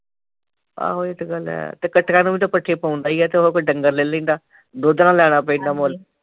ਆਹੋ ਇਹ ਤਾਂ ਗੱਲ ਹੈ ਤੇ ਕੱਟੀਆਂ ਨੂੰ ਵੀ ਤਾਂ ਭੱਠੇ ਪਾਉਣ ਦਈ ਹੈ ਤੇ ਓਹਦੇ ਕੋਲ ਡੰਗਰ ਲੈ ਲਈ ਦਾ ਦੁੱਧ ਨਾ ਲੈਣਾ ਪੈਂਦਾ ਮੁੱਲ਼।